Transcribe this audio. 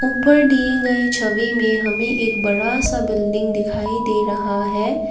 ऊपर दिए गए छवि में हमे एक बड़ा सा बिल्डिंग दिखाई दे रहा है।